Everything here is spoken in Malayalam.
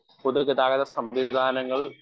സ്പീക്കർ 1 പൊതുഗതാഗത സംവിധാനങ്ങൾ